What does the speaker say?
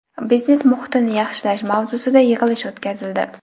biznes muhitini yaxshilash mavzusida yig‘ilish o‘tkazildi.